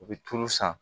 U bɛ tulu san